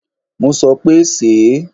Mo sọ pé, sèé.!